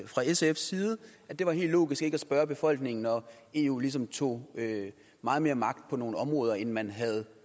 fra sfs side at det var helt logisk ikke at spørge befolkningen når eu ligesom tog meget mere magt på nogle områder end man havde